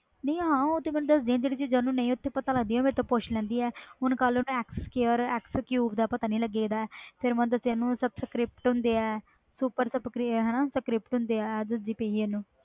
ਹਾਂ ਉਹ ਤੇ ਹੈ ਜਿਹੜੀਆਂ ਚੀਜ਼ਾਂ ਸਮਝ ਨਹੀਂ ਆਂਦੀਆਂ ਉਹ ਤਾ ਮੈਂ ਦਸ ਦੀ ਆ ਫਿਰ ਕਲ ਮੈਂ ਦਸਿਆ ਓਹਨੂੰ x square, x cube